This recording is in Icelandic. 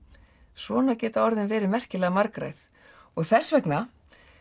svona geta nú orðin verið merkilega margræð og þess vegna